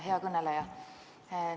Hea kõneleja!